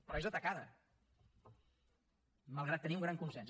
però és atacada malgrat tenir un gran consens